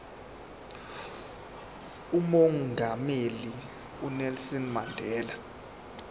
umongameli unelson mandela